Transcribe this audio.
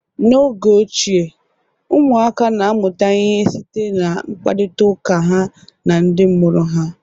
N'oge ochie, ụmụaka na-amụta ihe site na mkparitaụka ha na ndị mụrụ ha.